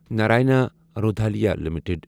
Narayana Hrudayalaya limited